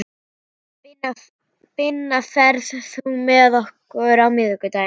Binna, ferð þú með okkur á miðvikudaginn?